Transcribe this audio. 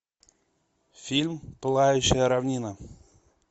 фильм пылающая равнина